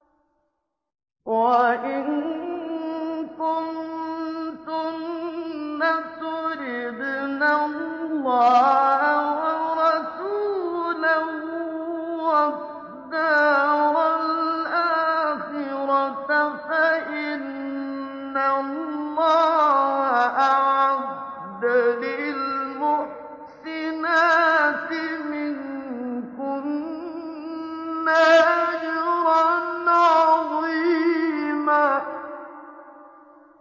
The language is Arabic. وَإِن كُنتُنَّ تُرِدْنَ اللَّهَ وَرَسُولَهُ وَالدَّارَ الْآخِرَةَ فَإِنَّ اللَّهَ أَعَدَّ لِلْمُحْسِنَاتِ مِنكُنَّ أَجْرًا عَظِيمًا